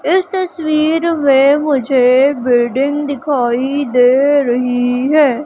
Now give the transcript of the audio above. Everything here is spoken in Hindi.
इस तस्वीर में मुझे बिल्डिंग दिखाई दे रही है।